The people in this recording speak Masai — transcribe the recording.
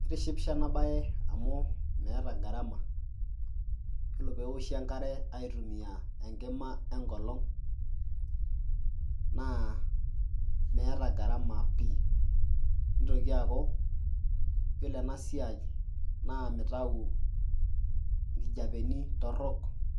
Kitishipisho ena baye amu meeta gharama yiolo pee ewoshi enkare aitumia enkima enkoong' naa meeta gharama pii, naa nitoki aaku yiolo ena siai naa mitau nkijapeni torok